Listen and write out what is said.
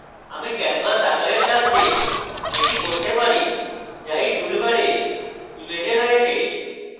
আমি canvas আকারের সাহায্যে এটি করতে পারি যা এই টুলবারে image রয়েছে